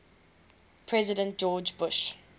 president george bush